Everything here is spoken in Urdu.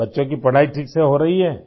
کیا بچے مناسب طریقے سے پڑھ رہے ہیں؟